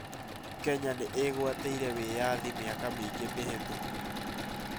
Kenya nĩ ĩgwatĩire wĩyathi mĩaka mĩingĩ mĩhĩtũku